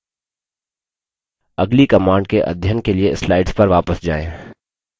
अगली command के अध्ययन के लिए slides पर वापस जाएँ